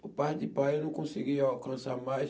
Por parte de pai eu não conseguia alcançar mais.